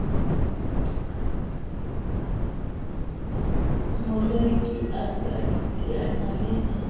moreki a ka iteanyang le